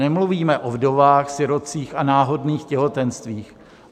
Nemluvíme o vdovách, sirotcích a náhodných těhotenstvích.